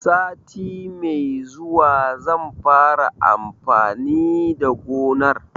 Sati mai zuwa zan fara amfani da gonar.